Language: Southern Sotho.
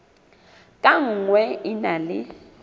ka nngwe e na le